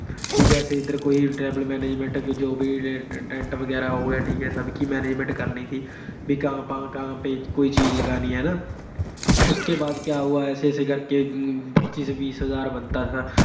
ਜੈਸੇ ਇਧਰ ਕੋਈ Tabel Manangement ਹੈ, ਕੋਈ dent ਵਗੈਰਾ ਹੋ ਗਿਆ, ਸਭ ਕੀ Manangement ਕਰਨੀ ਥੀ। ਵੀ ਕਾਹਾ ਪੇ ਕੋਈ ਚੀਜ ਲਗਾਣੀ ਹੈ ਹਨਾ। ਉਸਕੇ ਬਾਅਦ ਕੀਆ ਹੁਆ, ਐਸੇ ਐਸੇ ਕਰਕੇ ਪਚੀਸ-ਵੀਸ ਹਜਾਰ ਬਣਤਾ ਥਾ।